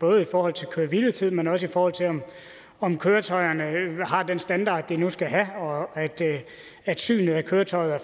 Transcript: både i forhold til køre hvile tid men også i forhold til om køretøjerne har den standard de nu skal have og at synet af køretøjer